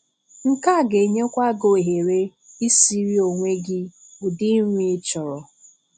Nke a ga-enyèkwa gị ohere isìrí onwe gị ụdị nri ị chọrọ.